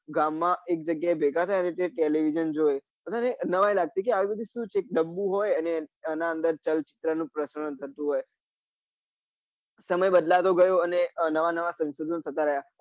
ગામમાં એક જગ્યા એ ભેગા થાય અને television જોવે અને નવી લગતી કે આવું બધું શું હોય આ ડબ્બુ હોય અને એના અંદર ચલ ચિત્ર નું પ્રસારણ થતું હોય.